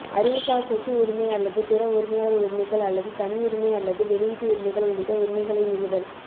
அறிவுசார் சொத்து உரிமை அல்லது பிற உரிமையாளர் உரிமைகள் அல்லது தனியுரிமை அல்லது வெளியீட்டு உரிமைகள் உள்ளிட்ட உரிமைகளை மீறுதல்